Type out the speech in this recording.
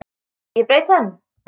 Ég braut tönn!